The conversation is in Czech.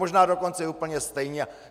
Možná dokonce úplně stejně.